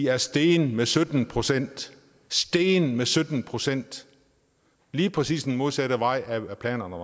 er steget med sytten procent steget med sytten procent lige præcis den modsatte vej af hvad planerne